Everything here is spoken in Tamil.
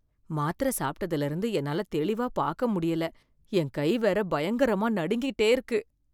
மாத்திர சாப்பிட்டதுல இருந்து என்னால தெளிவா பாக்க முடியல, என் கை வேற பயங்கரமா நடுங்கிட்டே இருக்கு.